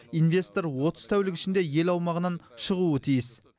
инвестор отыз тәулік ішінде ел аумағынан шығуы тиіс